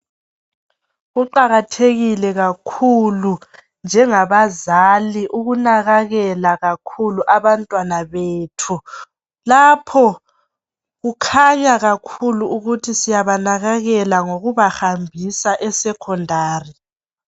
Kuqakathekile kakhulu njengabazali ukunakakela kakhulu abantwana bethu. Lapho kukhanya kakhulu ukuthi siyabanakakela kakhulu ngokubahambisa eSecondary